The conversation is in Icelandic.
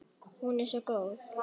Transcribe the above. Hún er svo góð.